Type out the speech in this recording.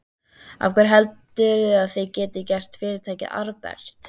Af hverju heldurðu að þið getið gert fyrirtækið arðbært?